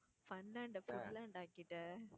funland அ foodland ஆக்கிட்ட